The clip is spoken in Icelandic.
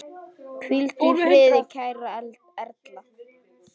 Hvíldu í friði kæra Erla.